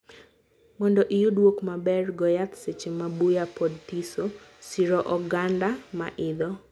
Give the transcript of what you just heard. mondo iyud wuok maber, goo yath seche ma buya pod thiso. Siro oganda maidho.